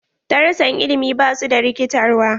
Darussan ilimi ba su da rikitarwa.